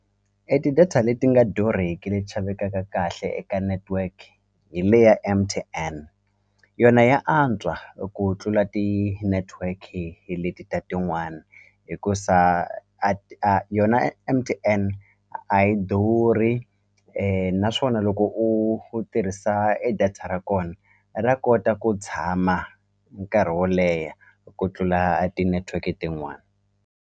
E ti-data leti nga durheki leti xavekaka kahle eka network hi le ya M_T_N yona ya antswa ku tlula tinetiweki hi leti ta tin'wani hikusa a a yona M_T_N a yi durhi naswona loko u u tirhisa e data ra kona ra kota ku tshama nkarhi wo leha ku tlula tinetiweki tin'wani.